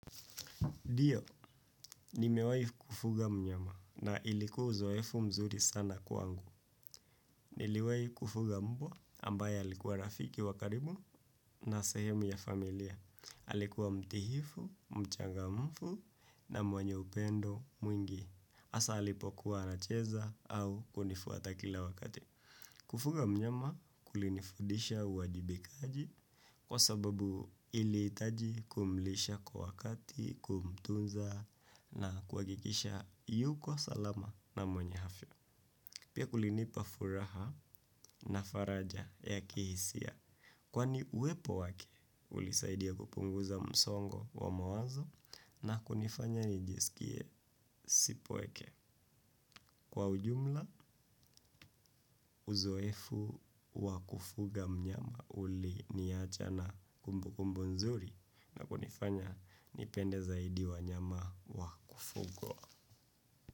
Ndio, nimewai kufuga mnyama na ilikuwa uzoefu mzuri sana kwangu. Niliwahi kufuga mbwa ambaye alikuwa rafiki wa karibu na sehemu ya familia. Alikuwa mtiifu, mchangamfu na mwenye upendo mwingi. Hasa alipo kuwa anacheza au kunifuata kila wakati. Kufuga mnyama kulinifundisha uwajibikaji kwa sababu ili hitaji kumlisha kwa wakati, kumtunza na kuhakikisha yuko salama na mwenye afya. Pia kulinipa furaha na faraja ya kihisia kwani uwepo wake ulisaidia kupunguza msongo wa mawazo na kunifanya nijiskie sipweke. Kwa ujumla, uzoefu wakufuga mnyama uliniacha na kumbu kumbu nzuri na kunifanya nipende zaidi wanyama wakufuga.